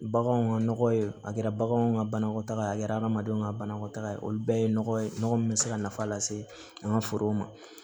Baganw ka nɔgɔ ye a kɛra baganw ka banakɔtaga ye a kɛra adamadenw ka banakɔtaga ye olu bɛɛ ye nɔgɔ ye nɔgɔ min bɛ se ka nafa lase an ka forow ma